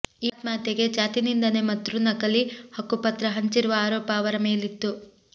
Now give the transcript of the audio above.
ಈ ಆತ್ಮಹತ್ಯೆಗೆ ಜಾತಿನಿಂದನೆ ಮತ್ರು ನಕಲಿ ಹಕ್ಕು ಪತ್ರ ಹಂಚಿರುವ ಆರೋಪ ಅವರ ಮೇಲಿತ್ತು